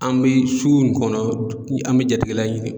An bɛ sugu nin kɔnɔ ni an bɛ jatigila ɲini.